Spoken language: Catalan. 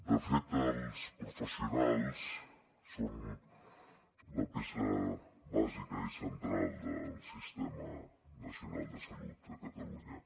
de fet els professionals són la peça bàsica i central del sistema nacional de salut de catalunya